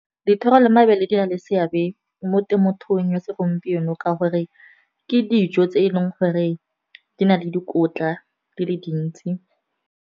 Dithoro le mabele di na le seabe mo temothuong ya segompieno ka gore ke dijo tse e leng gore di na le dikotla di le dintsi.